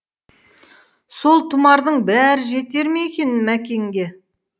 сол тұмардың бәрі жетер ме екен мәкенге